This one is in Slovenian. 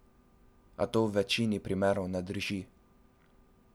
A to v večini primerov ne drži.